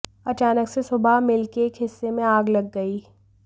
अचानक से सुबह मिल के एक हिस्से में आग लग गई